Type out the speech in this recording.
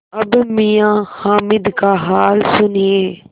अब मियाँ हामिद का हाल सुनिए